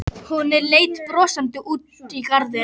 Hún leit brosandi út í garðinn.